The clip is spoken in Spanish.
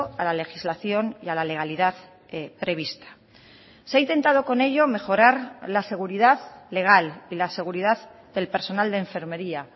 a la legislación y a la legalidad prevista se ha intentado con ello mejorar la seguridad legal y la seguridad del personal de enfermería